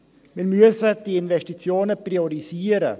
Wir müssen die Investitionen priorisieren.